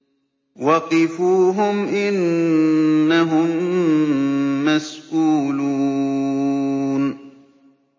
وَقِفُوهُمْ ۖ إِنَّهُم مَّسْئُولُونَ